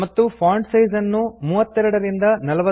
ಮತ್ತು font size ನ್ನು 32 ಯಿಂದ 40